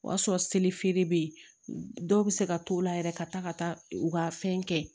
O y'a sɔrɔ selifeere bɛ ye dɔw bɛ se ka to o la yɛrɛ ka taa ka taa u ka fɛn kɛ